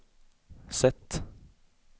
sätt